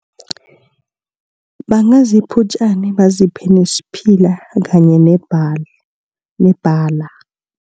Bangazipha utjani, baziphe nesiphila kanye nebhali nebalala.